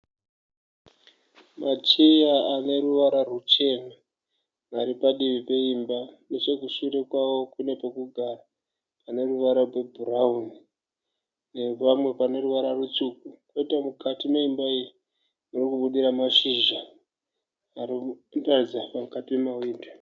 Macheya aneruvara ruchena ari padivi peimba. Nechekushure kwawo kune pekugara pane ruvara rwebhurauni nepamwe pane ruvara rutsvuku. Kwoita mukati meimba iyi muri kubudira mashizha ari kutaridza mukati mewindo.